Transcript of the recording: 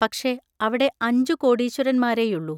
പക്ഷേ, അവിടെ അഞ്ചു കോടീശ്വരന്മാരേയുള്ളു.